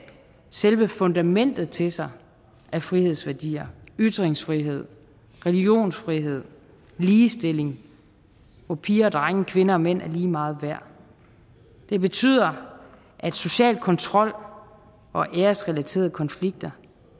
selve fundamentet til sig af frihedsværdier ytringsfrihed religionsfrihed ligestilling hvor piger og drenge og kvinder og mænd er lige meget værd det betyder at social kontrol og æresrelaterede konflikter